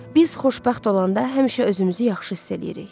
Biz xoşbəxt olanda həmişə özümüzü yaxşı hiss eləyirik.